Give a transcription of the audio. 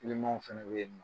w fɛnɛ be yennɔ.